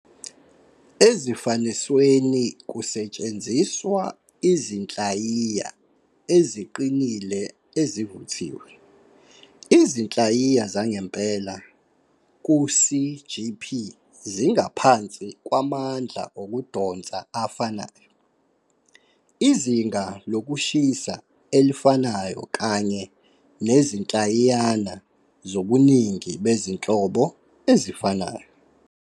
Ezifanisweni kusetshenziswa Izinhlayiya Eziqinile Ezivuthiwe, izinhlayiya zangempela ku-CGP zingaphansi kwamandla okudonsa afanayo, izinga lokushisa elifanayo kanye nezinhlayiyana zobuningi bezinhlobo ezifanayo.